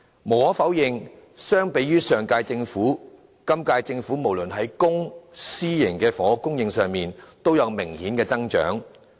無可否認，相比於上屆政府，今屆政府任期內不論是在公、私營的房屋供應上，都有明顯的增長。